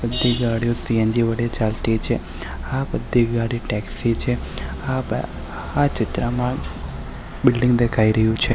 બધી ગાડીઓ સી_એન_જી વડે ચાલતી છે આ બધી ગાડી ટેક્સી છે આ બ આ ચિત્રમાં બિલ્ડીંગ દેખાઈ રહયું છે.